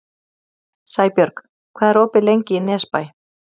Sæbjörg, hvað er opið lengi í Nesbæ?